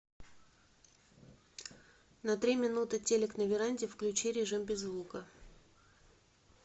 на три минуты телек на веранде включи режим без звука